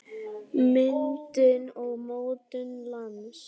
Myndun og mótun lands